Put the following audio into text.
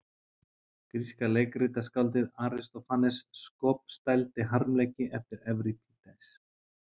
Gríska leikritaskáldið Aristófanes skopstældi harmleiki eftir Evripídes.